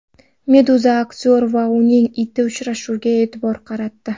Meduza aktyor va uning iti uchrashuviga e’tibor qaratdi .